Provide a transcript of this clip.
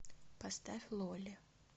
поставь лолли